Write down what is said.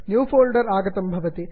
new folder आगतं भवति